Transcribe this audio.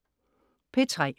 P3: